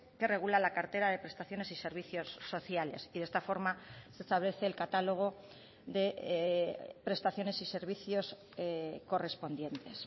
que regula la cartera de prestaciones y servicios sociales y de esta forma se establece el catálogo de prestaciones y servicios correspondientes